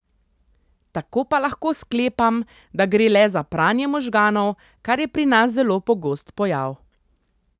Tako pa lahko sklepam, da gre le za pranje možganov, kar je pri nas zelo pogost pojav.